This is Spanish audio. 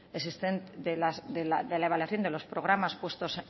existente de la evaluación de los programas puestos